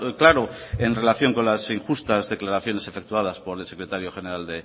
claro en relación con las injustas declaraciones efectuadas por el secretario general